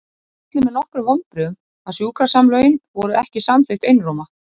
Það olli mér nokkrum vonbrigðum að sjúkrasamlögin voru ekki samþykkt einróma.